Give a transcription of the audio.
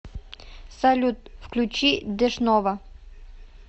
салют включи дэшнова